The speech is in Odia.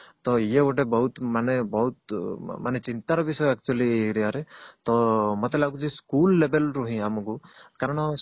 ଇଏ ଗୋଟେ ବହୁତ ମାନେ ଚିନ୍ତାର ବିଷୟ actually rare ତ ମତେ ଲାଗୁଛି school level ରୁ ହିଁ ଆମକୁ କାରଣ